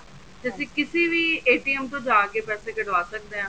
ਤੇ ਅਸੀਂ ਕਿਸੀ ਵੀ ਤੋ ਜਾਕੇ ਪੈਸੇ ਕਢਵਾ ਸੱਕਦੇ ਹਾਂ